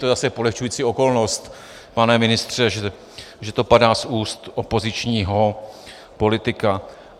To je zase polehčující okolnost, pane ministře, že to padá z úst opozičního politika.